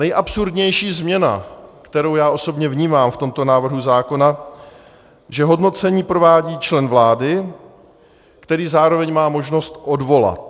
Nejabsurdnější změna, kterou já osobně vnímám v tomto návrhu zákona, že hodnocení provádí člen vlády, který zároveň má možnost odvolat.